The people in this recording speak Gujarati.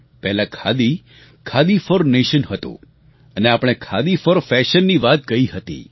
પહેલા ખાદી ખાદી ફોર નેશન હતું અને આપણે ખાદી ફોર ફેશનની વાત કહી હતી